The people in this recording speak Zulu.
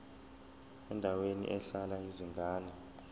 endaweni ehlala izingane